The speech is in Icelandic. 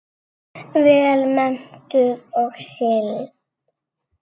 Vel menntuð og sigld.